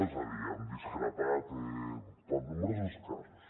és a dir han discrepat per nombrosos casos